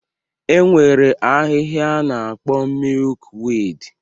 E nwere ahịhịa a na-akpọ mịyụk wiidi.